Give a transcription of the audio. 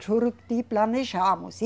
Juruti, planejamos.